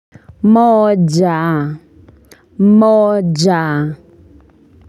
Moja moja.